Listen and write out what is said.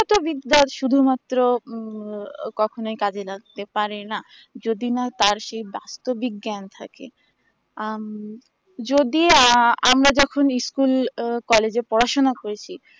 কতো বিদ্যার শুধু মাত্র উম কখনোই কাজে লাগতে পারে না যদি না তার সেই বাস্তবি জ্ঞান থাকে আম যদি আ আমরা যখন school ও college এ পড়াশোনা করেছি